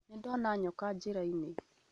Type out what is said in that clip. Nĩdona nyoka njĩra-inĩ